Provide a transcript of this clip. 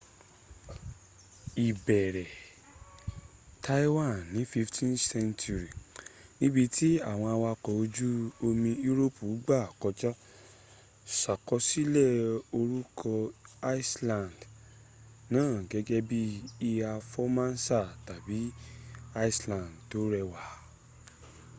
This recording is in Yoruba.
ìbẹ̀rẹ̀ taiwan ní 15th century níbi tí àwọn awakọ̀ ojú omi europe gbà kọjà ṣàkọsílẹ̀ orúkọ island na gẹ́gẹ́ bí iiha formosa tàbí island tó rẹwà